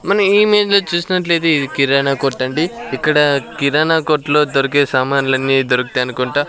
మనం ఏమైందో చూసినట్లయితే ఇది కిరాణా కొట్టండి ఇక్కడ కిరాణా కొట్లో దొరికే సామాన్లన్నీ దొరుకుతాయనుకుంట.